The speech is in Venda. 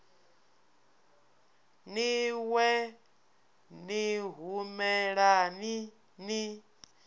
ni wee ni humelani ni